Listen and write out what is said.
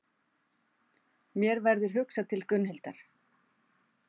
Mér verður hugsað til Gunnhildar.